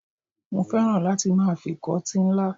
Mo féràn láti máa ìfikọ́tí ńlá.